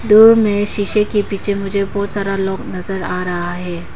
दूर में शीशे के पीछे मुझे बहोत सारा लॉक नजर आ रहा है।